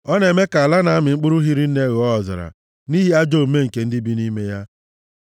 Ọ na-eme ka ala na-amị mkpụrụ hiri nne ghọọ ọzara, nʼihi ajọ omume nke ndị bi nʼime ya.